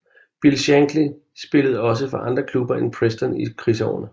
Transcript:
Bill Shankly spillede også for andre klubber end Preston i krigsårene